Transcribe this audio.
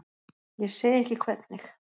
Ég segi ekki hvernig.